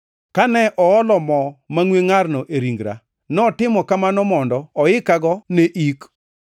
Kane oolo mo mangʼwe ngʼarno e ringra, notimo kamano mondo oikago ne ik.